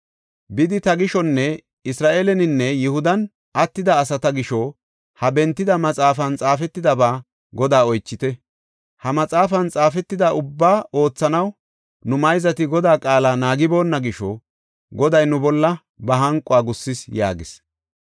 “Bidi ta gishonne Isra7eeleninne Yihudan attida asata gisho ha bentida maxaafan xaafetidaba Godaa oychite. Ha maxaafan xaafetida ubbaa oothanaw nu mayzati Godaa qaala naagiboonna gisho Goday nu bolla ba hanquwa gussis” yaagis.